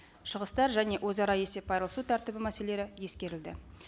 шығыстар және өзара есеп айырылысу тәртібі мәселелері ескерілді